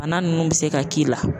Bana nunnu be se ka k'i la.